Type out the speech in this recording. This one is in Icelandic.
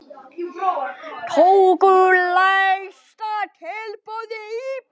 Tóku lægsta tilboði í.